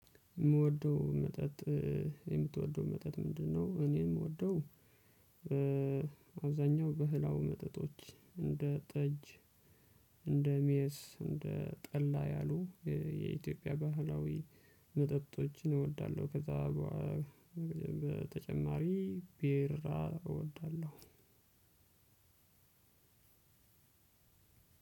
የምወደው መጠጥ የምትወደው መጠጥ ምንድነው? እኔ የምወደው አብዛኛው ባህላዊ መጠጦች እንደ ጠጅ እንደ ሜስ እንደ ጠላ ያሉ የኢትዮጵያ ባህላዊ መጠጦችን እወዳለሁ። ከዛ በተጨማሪ ቢራ እወዳለሁ።